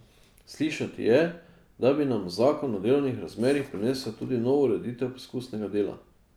Slišati je, da bi nam zakon o delovnih razmerjih prinesel tudi novo ureditev poskusnega dela.